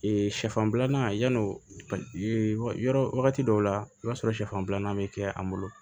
sɛfan bilanan yann'o yɔrɔ wagati dɔw la i b'a sɔrɔ siyɛfan filanan bɛ kɛ an bolo